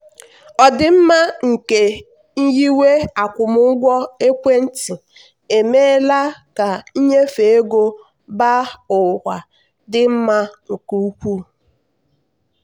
ọdịmma nke nyiwe akwụmụgwọ ekwentị emeela ka nnyefe ego mba ụwa dị mma nke ukwuu.